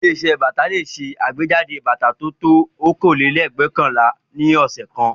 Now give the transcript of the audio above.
Ilé-iṣẹ́ bàtà le ṣe àgbéjáde bàtà tó ju okòólélẹ́ẹ̀dẹ́gbẹ́ọ̀kànlá ní ọ̀sẹ̀ kan.